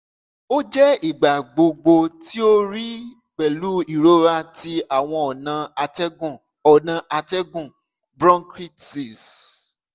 o jẹ igbagbogbo ti o rii pẹlu irọra ti awọn ọna atẹgun ọna atẹgun bronchitis